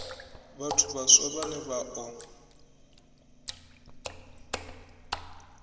vhathu vhaswa vhane vha o